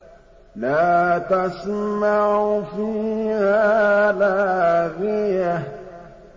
لَّا تَسْمَعُ فِيهَا لَاغِيَةً